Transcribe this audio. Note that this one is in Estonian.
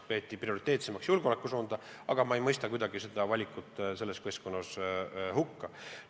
Peeti prioriteetsemaks julgeolekusuunda ja ma ei mõista selles keskkonnas tehtud valikut kuidagi hukka.